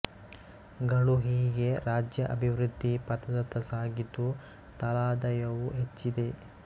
ಗಳು ಹೀಗೆ ರಾಜ್ಯ ಅಭಿವೃದ್ಧಿ ಪಥದತ್ತ ಸಾಗಿದ್ದು ತಲಾದಾಯವೂ ಹೆಚ್ಚಿದೆ